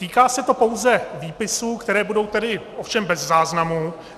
Týká se to pouze výpisů, které budou tedy ovšem bez záznamu.